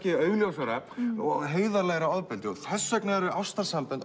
augljósara og heiðarlegra ofbeldi þess vegna eru ástarsambönd